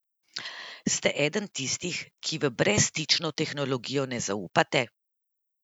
Ste eden tistih, ki v brezstično tehnologijo ne zaupate?